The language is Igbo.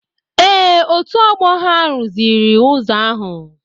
Ee, otu ọgbọ ha rụziri ụzọ ahụ.